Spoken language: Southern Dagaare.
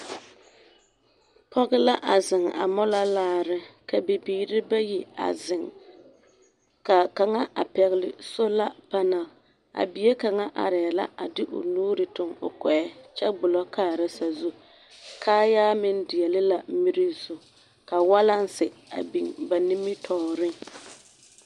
Pɔge la a zeŋ a mola laare ka bibiiri bayi a zeŋ k'a kaŋa a pɛgele solapanɛl, a bie kaŋa arɛɛ la a de o nuuri toŋ o kɔɛ kyɛ gbolɔ kaara sazu, kaayaa meŋ deɛle la miri zu, ka walansi a biŋ ba nimitɔɔreŋ.